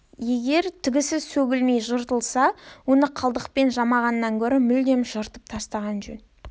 егер тігісі сөгілмей жыртылса оны қалдықпен жамағаннан гөрі мүлдем жыртып тастаған жөн